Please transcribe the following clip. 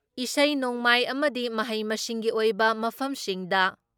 ꯏꯁꯩꯅꯣꯡꯃꯥꯏ ꯑꯃꯗꯤ ꯃꯍꯩ ꯃꯁꯤꯡꯒꯤ ꯑꯣꯏꯕ ꯃꯐꯝꯁꯤꯡꯗ